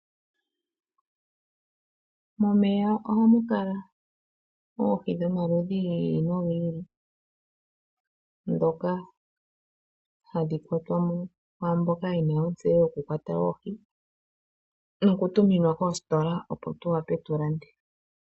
Momeya oha mu kala oohi dhomaludhi gi ili nogi ili, ndhoka hadhi kwatwa mo kwaamboka ye na ontseyo yoku kwata oohi noku tuminwa koositola, opo tu wape tu lande.